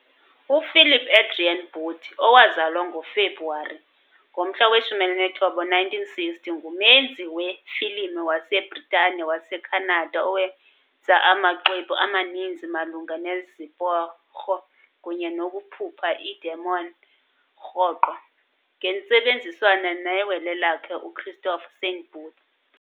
uPhilip Adrian Booth, owazalwa ngoFebruwari 19, 1960, ngumenzi wefilimu waseBritane-waseKhanada owenze amaxwebhu amaninzi malunga neziporho kunye nokukhupha iidemon, rhoqo ngentsebenziswano newele lakhe, uChristopher Saint Booth.